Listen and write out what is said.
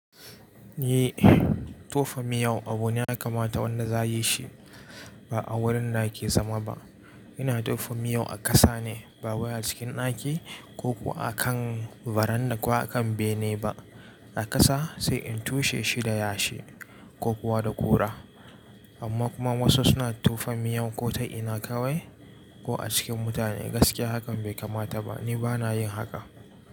Eh, tofa miyau abu ne ya kamata wanda za a yi shi ba a wurin da ake zama ba. Ina tofa miyau a ƙasa ne ba wayai cikin ɗaki ko kuwa a kan baranda ko a kan bene ba. A ƙasa sai in tushe shi da yashi ko kuwa da ƙura. Amma kuma wasu suna tofa miyau ko ta ina kawai ko a cikin mutane. Gaskiya hakan bai kamata ba. Ni ba na yin haka.